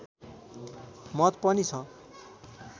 मत पनि छ